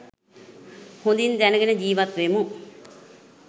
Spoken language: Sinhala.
හොඳින් දැනගෙන ජීවත් වෙමු.